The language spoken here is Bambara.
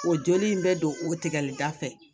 O joli in bɛ don o tigɛli da fɛ